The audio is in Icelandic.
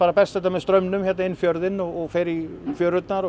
berst þetta með straumnum hér inn fjörðinn og fer í fjörurnar og